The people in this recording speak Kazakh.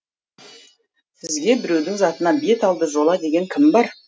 сізге біреудің затына беталды жола деген кім бар